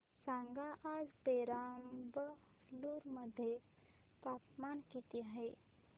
सांगा आज पेराम्बलुर मध्ये तापमान किती आहे